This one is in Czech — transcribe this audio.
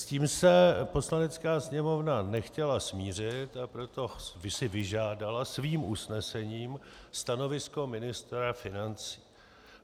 S tím se Poslanecká sněmovna nechtěla smířit, a proto si vyžádala svým usnesením stanovisko ministra financí.